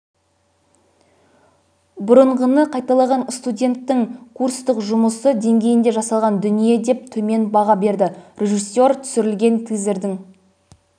бұрынғыны қайталаған студенттің курстық жұмысы деңгейінде жасалған дүние деп төмен баға берді режиссер түсірілген тизердің